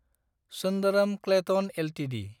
Sundaram Clayton Ltd